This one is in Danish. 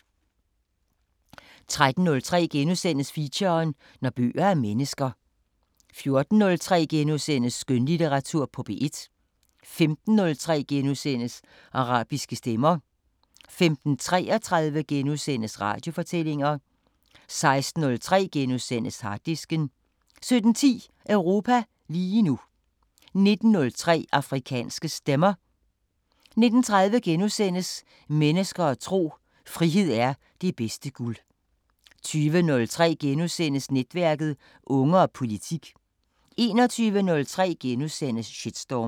13:03: Feature: Når bøger er mennesker * 14:03: Skønlitteratur på P1 * 15:03: Arabiske Stemmer * 15:33: Radiofortællinger * 16:03: Harddisken * 17:10: Europa lige nu 19:03: Afrikanske Stemmer 19:30: Mennesker og tro: Frihed er det bedste guld * 20:03: Netværket: Unge og politik * 21:03: Shitstorm *